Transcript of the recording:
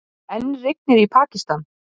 Enn rignir í Pakistan